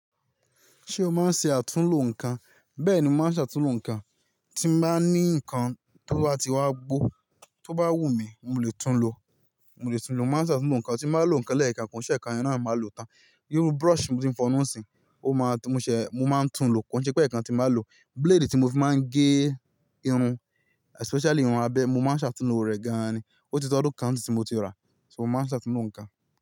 Ṣé o máa ń ṣe àtúnlo nǹkan? Bẹ́ẹ̀ni, mo màá ń ṣe àtúnlo nǹkan, tí bà ní ǹkan tó bá ti wá gbó, tó bá wù mí, mo lè tún lo, mo lè tún lo, mo màá n ṣe àtúnlo nǹkan, tí n bàá lo ǹkan lẹ́ẹ̀kan, ko i ṣe ẹ́ẹkan yen naa máa lò tán. Irú brush tí mo fi ń fọnu sìn, ó máa ń mú ṣẹ, mo máa ń tún lo, kò ṣe pé ẹ̀ẹ̀kan tí bá lò. Blade tí mo fi máa ń gé irun especially ìrun abẹ́, mo máa ń ṣe àtúnlo rẹ̀ gan-an ni, ó ti tó ọdún kan n sin tí mo ti rà á, ṣo mo máa ṣe àtúnlo ǹkan?